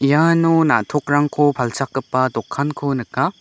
iano na·tokrangko palchakgipa dokanko nika.